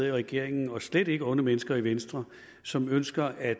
i regeringen og slet ikke nogen onde mennesker i venstre som ønsker at